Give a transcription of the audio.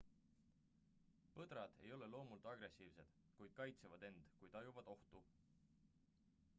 põdrad ei ole loomult agressiivsed kuid kaitsevad end kui tajuvad ohtu